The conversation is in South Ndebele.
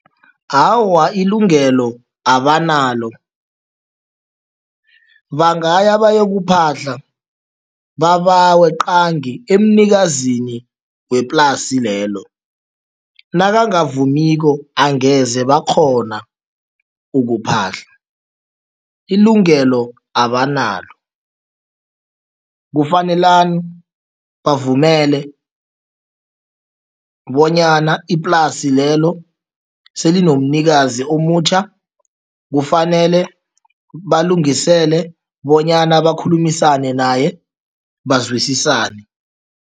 Awa, ilungelo abanalo. Bangaya bayokuphahla babawe qangi emnikazini weplasi lelo, nakangavumiko angeze bakghona ukuphahla, ilungelo abanalo. Kufanelani bavumele bonyana iplasi lelo selinomnikazi omutjha, kufanele balungisele bonyana bakhulumisane naye, bazwisisane.